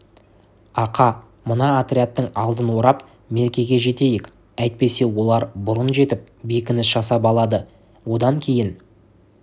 ақа мына отрядтың алдын орып меркеге жетейік әйтпесе олар бұрын жетіп бекініс жасап алады одан кейін